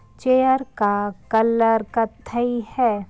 Chair का colour कत्थई है।